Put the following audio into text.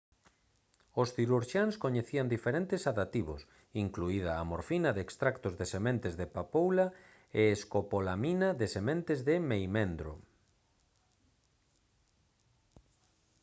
os cirurxiáns coñecían diferentes sedativos incluída a morfina de extractos de sementes de papoula e escopolamina de sementes de meimendro